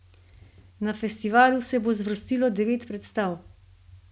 Na festivalu se bo zvrstilo devet predstav.